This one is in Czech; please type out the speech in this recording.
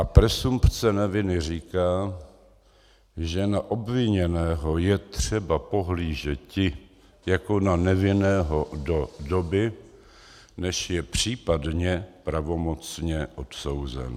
A presumpce neviny říká, že na obviněného je třeba pohlížeti jako na nevinného do doby, než je případně pravomocně odsouzen.